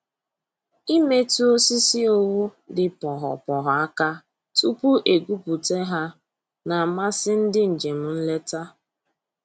Imetụ osisi owu dị poghopogho aka tupu e gwupụta ha na-amasị ndị njem nleta